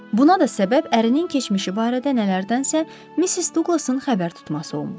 Buna da səbəb ərinin keçmişi barədə nələrdənsə Missis Duqlasın xəbər tutması olmuşdu.